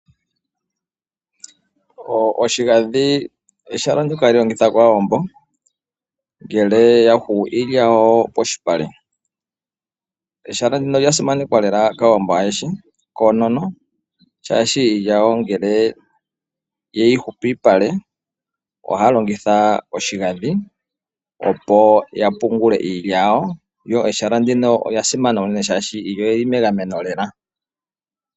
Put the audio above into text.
Oshigadhi ehala ndyoka hali longithwa kAawambo ngele yungula iilya yawo poshipale. Ehala ndino olya simanekwa lela kAawambo ayehe konono, shashi ngele iilya yawo yungulwa polupale ohaya longitha oshigadhi opo yapungule iilya yawo, lyo elaha ndika olya simana molwashoka iilya yawo oyili megameno.